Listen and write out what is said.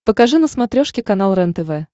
покажи на смотрешке канал рентв